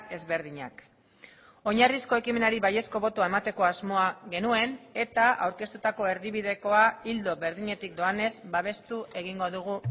ezberdinak oinarrizko ekimenari baiezko botoa emateko asmoa genuen eta aurkeztutako erdibidekoa ildo berdinetik doanez babestu egingo dugu